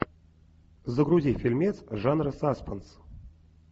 загрузи фильмец жанра саспенс